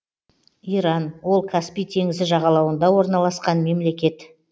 иран ол каспий теңізі жағалауында орналасқан мемлекет